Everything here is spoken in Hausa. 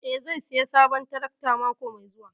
Eh zai sayi sabon tarakta mako mai zuwa.